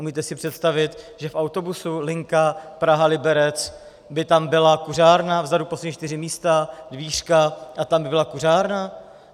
Umíte si představit, že v autobuse linka Praha-Liberec by tam byla kuřárna, vzadu, poslední čtyři místa, dvířka, a tam by byla kuřárna?